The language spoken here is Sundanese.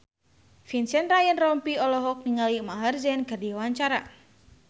Vincent Ryan Rompies olohok ningali Maher Zein keur diwawancara